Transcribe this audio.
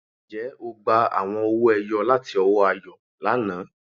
Ǹjẹ́ ó gbà àwọn ọ̀wọ̀-èyò̀ lati ọwọ̀ Àyọ̀ lánà?